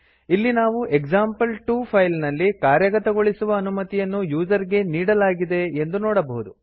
ಇಲ್ಲಿ ನಾವು example two file ನಲ್ಲಿ ಕಾರ್ಯಗತಗೊಳಿಸುವ ಅನುಮತಿಯನ್ನು ಯೂಸರ್ ಗೆ ನೀಡಲಾಗಿದೆ ಎಂದು ನೋಡಬಹುದು